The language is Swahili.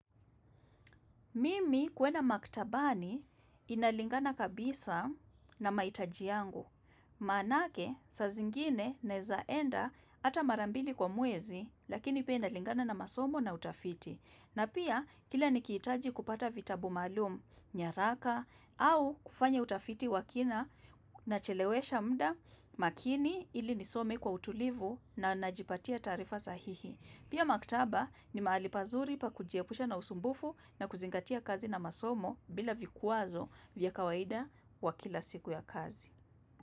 Mimi kuenda maktabani inalingana kabisa na mahitaji yangu. Maanake saa zingine naeza enda hata mara mbili kwa mwezi lakini pia inalingana na masomo na utafiti. Na pia kila nikihitaji kupata vitabu maalum, nyaraka au kufanya utafiti wa kina nachelewesha muda makini ili nisome kwa utulivu na najipatia taarifa sahihi. Pia maktaba ni mahali pazuri pa kujiepusha na usumbufu na kuzingatia kazi na masomo bila vikwazo vya kawaida wa kila siku ya kazi.